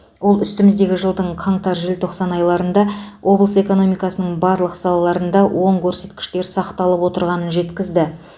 ол үстіміздегі жылдың қаңтар желтоқсан айларында облыс экономикасының барлық салаларында оң көрсеткіштер сақталып отырғанын жеткізді